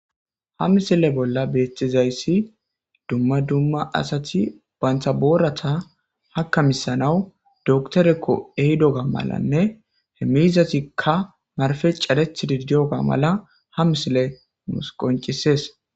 Ha misile bolla beexxizayssi dumma dumma asati bantha boorata hakkamisanawu doktorekko ehidoga malanne he mizatikka marfe careth didiyoga mala ha misile nus qoncisees.